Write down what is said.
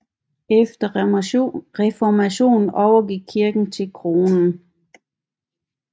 Efter reformationen overgik kirken til kronen